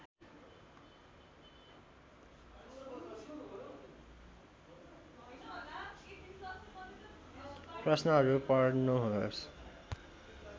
प्रश्नहरू पढ्नुहोस्